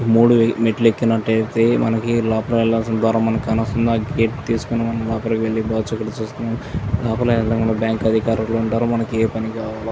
మూడు మెట్లు ఎక్కినట్లయితే మనకి లోపల ఒక సింహాద్వారం కాన వస్తుంది. ఆ గేటు తీసుకొని మనం లోపలికి వెళ్ళిపోవచ్చును. ఇక్కడ చూస్తున్న లోపలికి వెళ్ళగానే మనకి బ్యాంక్ అధికారులు ఉంటారు. మనకి ఏ పని కావాలో--